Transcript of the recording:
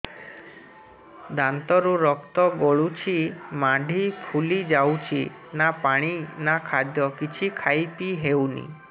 ଦାନ୍ତ ରୁ ରକ୍ତ ଗଳୁଛି ମାଢି ଫୁଲି ଯାଉଛି ନା ପାଣି ନା ଖାଦ୍ୟ କିଛି ଖାଇ ପିଇ ହେଉନି